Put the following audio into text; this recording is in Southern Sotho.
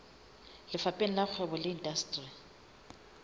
lefapheng la kgwebo le indasteri